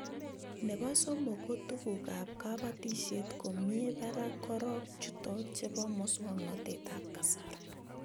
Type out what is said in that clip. Nebo somok ko tuguk ab kabatishet ko mie barak korok chutok chebo mswognatet ab kasari